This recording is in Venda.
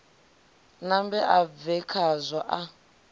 nambe a bve khazwo a